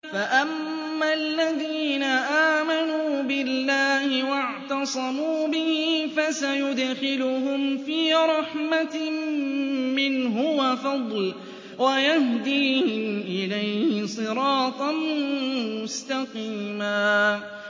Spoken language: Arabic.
فَأَمَّا الَّذِينَ آمَنُوا بِاللَّهِ وَاعْتَصَمُوا بِهِ فَسَيُدْخِلُهُمْ فِي رَحْمَةٍ مِّنْهُ وَفَضْلٍ وَيَهْدِيهِمْ إِلَيْهِ صِرَاطًا مُّسْتَقِيمًا